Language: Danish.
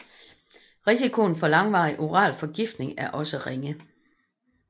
Risikoen for langvarig oral forgiftning er også ringe